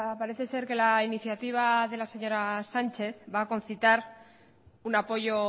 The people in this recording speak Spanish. parece ser que la iniciativa de la señora sánchez va a concitar un apoyo